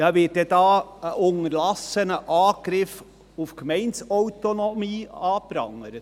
Ja, wird dann hier ein unterlassener Angriff auf die Gemeindeautonomie angeprangert?